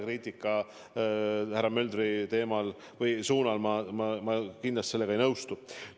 Kriitikaga härra Möldri pihta ma kindlasti ei nõustu.